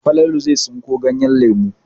Falalu zai tsinko ganyen lemu.